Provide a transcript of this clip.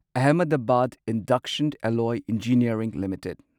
Ahmedabad induction alloy engineering limited